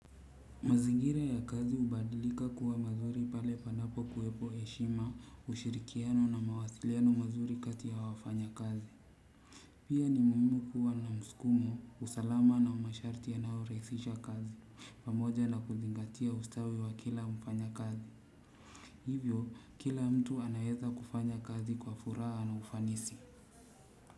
Mazingira ya kazi hubadilika kuwa mazuri pale panapo kuwepo heshima ushirikiano na mawasiliano mazuri kati ya wafanyakazi. Pia ni muhimu kuwa na msukumo usalama na masharti yanayorahisisha kazi pamoja na kuzingatia ustawi wa kila mfanyakazi. Hivyo, kila mtu anaweza kufanya kazi kwa furaha na ufanisi.